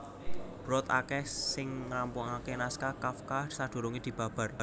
Brod akèh sing ngrampungaké naskah Kafka sadurungé dibabar